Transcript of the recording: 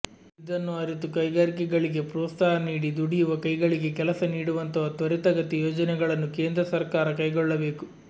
ಇದನ್ನು ಅರಿತು ಕೈಗಾರಿಕೆಗಳಿಗೆ ಪ್ರೋತ್ಸಾಹ ನೀಡಿ ದುಡಿಯುವ ಕೈಗಳಿಗೆ ಕೆಲಸ ನೀಡುವಂತಹ ತ್ವರಿತಗತಿ ಯೋಜನೆಗಳನ್ನು ಕೇಂದ್ರ ಸರ್ಕಾರ ಕೈಗೊಳ್ಳಬೇಕು